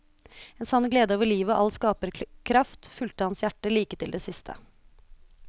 En sann glede over livet og all skaperkraft, fulgte hans hjerte, like til det siste.